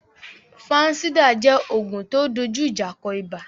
Fansidar jẹ́ oògùn tó dojú ìjà kọ ibà